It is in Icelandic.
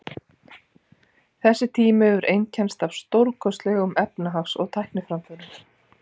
þessi tími hefur einkennst af stórkostlegum efnahags og tækniframförum